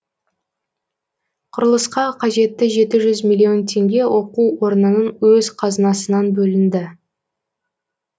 құрылысқа қажетті жеті жүз миллион теңге оқу орнының өз қазынасынан бөлінді